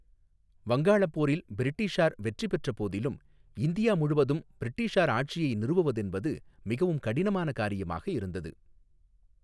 வங்காளப்போரில் பிரிட்டிஷார் வெற்றிப் பெற்ற போதிலும் இந்தியா முழுவதும் பிரிட்டிஷார் ஆட்சியை நிறுவுவதென்பது மிகவும் கடினமான காரியமாக இருந்தது.